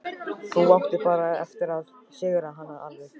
Ég hlýddi strax og varð agndofa.